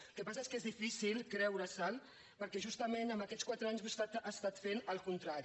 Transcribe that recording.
el que passa és que és difícil creure’l perquè justament en aquests quatre anys vostè ha estat fent el contrari